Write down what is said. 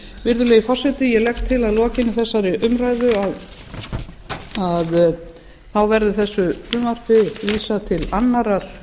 virðulegi forseti ég legg til að að lokinni þessari umræðu verði þessu frumvarpi vísað til annarrar